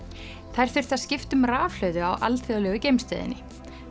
þær þurftu að skipta um rafhlöðu á alþjóðlegu geimstöðinni